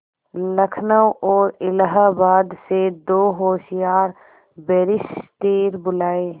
लखनऊ और इलाहाबाद से दो होशियार बैरिस्टिर बुलाये